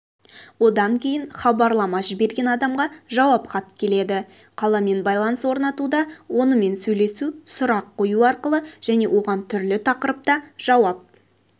одан кейін хабарлама жіберген адамға жауап хат келеді қаламен байланыс орнатуда онымен сөйлесу сұрақ қою арқылы және оған түрлі тақырыпта жауап